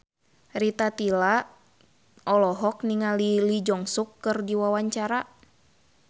Rita Tila olohok ningali Lee Jeong Suk keur diwawancara